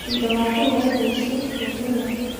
Thutha wa kũruga irio icio, tũkĩrĩa.